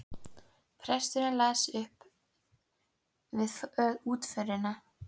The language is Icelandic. Presturinn las það upp við útförina.